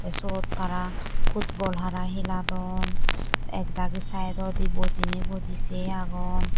tey seyot tara footbol hara heladon ak dagi side done bojinay boji say agon.